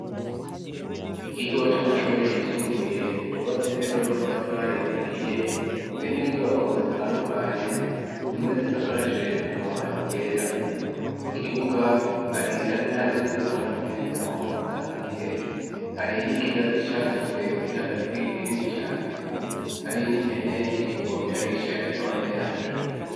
Ikigo c'amashuri yisumbuye, cubatse neza n'amatafari ahiye ,harimwo inyubako zitandukanye ,zimwe zisakaje amabati yera, mu kibuga hari hamwe hari utwatsi ahandi naho, haraharuye hari n'ikigazi cakuze kiri hagati kinini cane, hari n'impene iriko irarisha iruhande yacu.